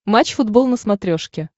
матч футбол на смотрешке